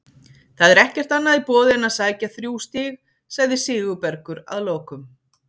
Það er ekkert annað í boði en að sækja þrjú stig, sagði Sigurbergur að lokum.